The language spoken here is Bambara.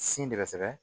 Sin de bɛ sɛgɛ